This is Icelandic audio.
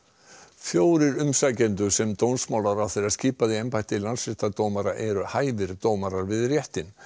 fjórir umsækjendur sem dómsmálaráðherra skipaði í embætti landsréttardómara eru hæfir dómarar við réttinn